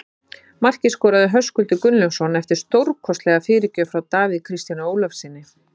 Markið skoraði Höskuldur Gunnlaugsson eftir stórkostlega fyrirgjöf frá Davíð Kristjáni Ólafssyni.